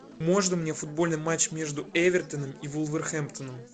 можно мне футбольный матч между эвертоном и вулверхэмптоном